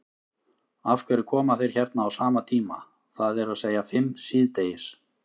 Af hverju koma þeir hérna á sama tíma, það er að segja fimm síðdegis?